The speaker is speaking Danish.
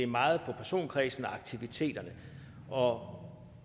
meget på personkredsen og aktiviteterne og